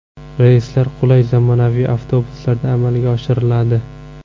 Reyslar qulay zamonaviy avtobuslarda amalga oshiriladi.